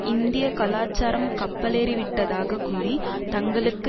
இந்திய கலாச்சாரம் கப்பலேறிவிட்டதாக கூறி தங்களுக்கு